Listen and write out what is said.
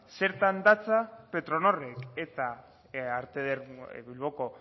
zertan datza petronorrek eta bilboko